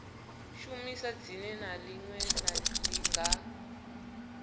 shumisa dzina ḽine ḽa nga